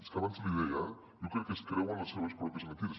és que abans l’hi deia eh jo crec que es creuen les seves pròpies mentides